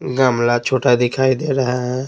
गमला छोटा दिखाई दे रहा है।